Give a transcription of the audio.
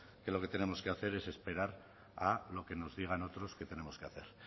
que lo que tenemos hacer es esperar a lo que nos digan otros que tenemos que hacer